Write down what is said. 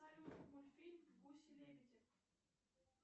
салют мультфильм гуси лебеди